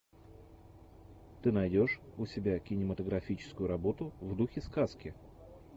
ты найдешь у себя кинематографическую работу в духе сказки